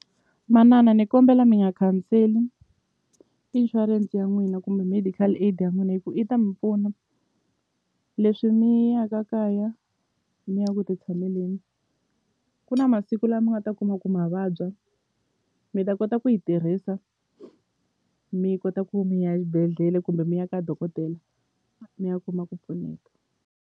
Manana ni kombela mi nga khanseli insurance ya n'wina kumbe medical aid ya n'wina hi ku i ta mi pfuna leswi mi ya ka kaya mi ya ku ti tshameleni ku na masiku la mi nga ta kuma ku ma vabya mi ta kota ku yi tirhisa mi kota ku mi ya xibedhlele kumbe mi ya ka dokodela mi ya kuma ku pfuneka.